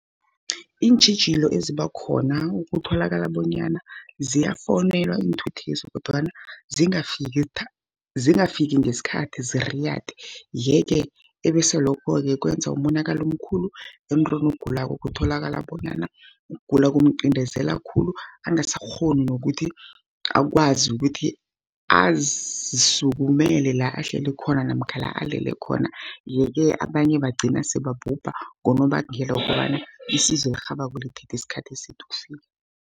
Iintjhijilo ezibakhona kutholakala bonyana ziyafowunelwa iinthuthezi, kodwana zingafiki ngesikhathi ziriyade. Yeke ebese lokho-ke kwenza umonakalo omkhulu emntwini ogulako, kutholakala bonyana ugula kumcindezela khulu, angasakghoni nokuthi akwazi ukuthi azisukumele lahleli khona namkha la alele khona. Yeke abanye bagcina sebabhuba ngonobangela wokobana isizo elirhabako lithathi isikhathi eside ukufika.